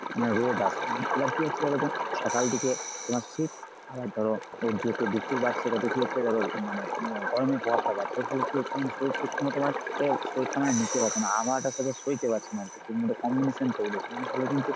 মানে রোদ আসছে এবার কী হচ্ছে বলতো? সকাল থেকে তোমার শীত আবার ধর দুপুর বাড়ছে তাতে কী হয়েছে ধর মানে গরমের প্রভাবটা বাড়ছে এর ফলে কী হচ্ছে মানে শরীর ঠিকমত তোমার এর শরীরটা মানে নিতে পারছে না আবহাওয়াটার সাথে সইতে পারছে না আরকি combination কিন্তু